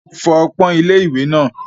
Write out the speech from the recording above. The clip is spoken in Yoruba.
Fọ ọpọ́n ilé-ìwẹ̀ náà.